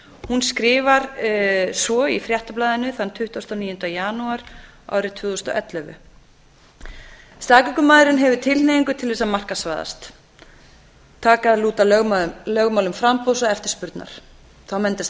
hún skrifar svo í fréttablaðinu þann tuttugasta og níunda janúar árið tvö þúsund og ellefu fyrstu staðgöngumæðrun hefur tilhneigingu til að markaðsvæðast taka að lúta lögmálum framboðs og eftirspurnar þá myndast